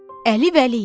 Əli Vəliyev.